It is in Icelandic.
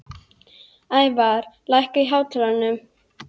Ævarr, lækkaðu í hátalaranum.